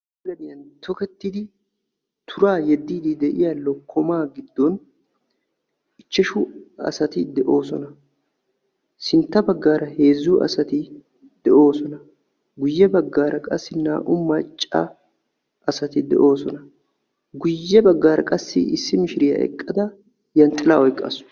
Gaadiyan tokketidi tuura yeedidi deiya lookkoma giddon ichchashshu asaati deosona. Sintta baggara heezzu asaati deosona. Guuye baggara qassi naa'u maccaa asaati deosona. Guuye baggara qassi issi miishiriya eqqada zhanxxilaa oyqqasu.